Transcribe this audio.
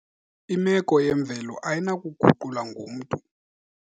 Imeko yemvelo ayinakuguqulwa ngumntu.